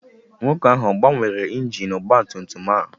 Nwoke ahụ ọ gbanwere injin ọgba tum tum a?